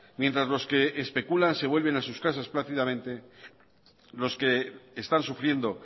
mientras los que especulan se vuelven a sus casas plácidamente los que están sufriendo